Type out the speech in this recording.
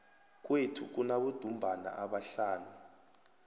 kwethu kunabodumbana abahlanu